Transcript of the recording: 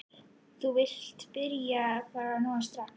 Þú vilt byrja þar bara núna strax?